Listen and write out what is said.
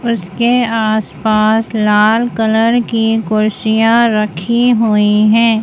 उसके आसपास लाल कलर की कुर्सिया रखी हुई हैं।